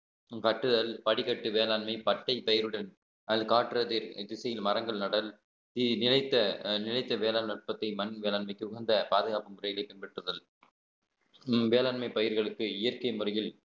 காட்டுதல் படிக்கட்டு வேளாண்மை பட்டை பயிருடன் அதில் காட்டுறது திசையில் மரங்கள் நடல் நீ நினைத்த நினைத்த வேளாண் நுட்பத்தை மண் வேளாண்மைக்கு உகந்த பாதுகாப்பு முறையிலே பின்பற்றுதல் உம் வேளாண்மை பயிர்களுக்கு இயற்கை முறையில்